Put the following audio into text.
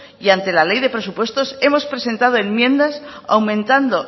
y ante la ley de presupuestos hemos presentado enmiendas aumentando